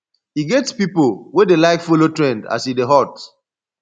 e get pipo wey dey like follow trend as e dey hot